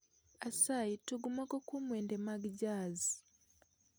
Asayi tug moko kuom wende mag jazz